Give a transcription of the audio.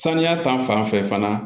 Saniya ta fanfɛ fana